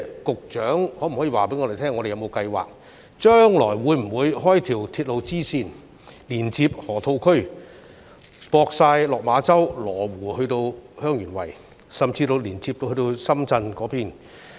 局長可否告訴我們，香港有否計劃開闢一條鐵路支線，連接河套地區、羅湖、香園圍，甚至深圳？